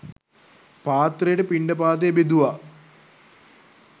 පාත්‍රයට පිණ්ඩපාතය බෙදුවා.